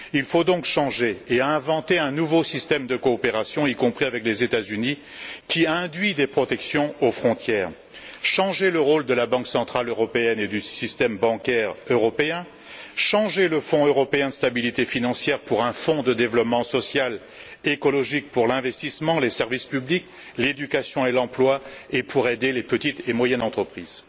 Il faut donc changer et inventer un nouveau système de coopération, y compris avec les États Unis, qui induit des protections aux frontières, changer le rôle de la Banque centrale européenne et du système bancaire européen, changer le Fonds européen de stabilité financière pour un Fonds de développement social écologique pour l'investissement, les services publics, l'éducation et l'emploi, et pour aider les petites et moyennes entreprises.